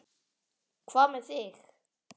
Hvað með þig?